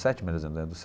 Sete mais ou menos.